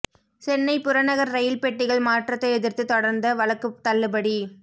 சென்னை புறநகர் ரயில் பெட்டிகள் மாற்றத்தை எதிர்த்து தொடர்ந்த வழக்கு தள்ளுபடி